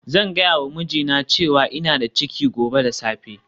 Zan gaya wa mijina cewa ina da ciki gobe da safe